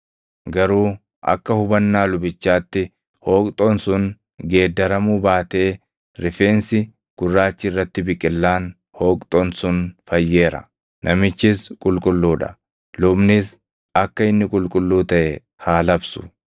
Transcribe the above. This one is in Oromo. Garuu akka hubannaa lubichaatti hooqxoon sun geeddaramuu baatee rifeensi gurraachi irratti biqillaan hooqxoon sun fayyeera; namichis qulqulluu dha; lubnis akka inni qulqulluu taʼe haa labsu.